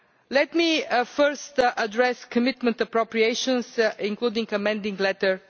Let me first address commitment appropriations, including Amending Letter